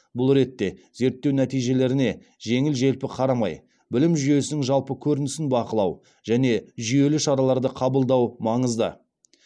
бұл ретте зерттеу нәтижелеріне жеңіл желпі қарамай білім жүйесінің жалпы көрінісін бақылау және жүйелі шараларды қабылдау маңызды